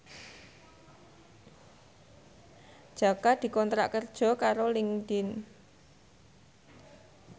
Jaka dikontrak kerja karo Linkedin